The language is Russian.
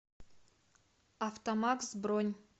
автомакс бронь